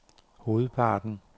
hovedparten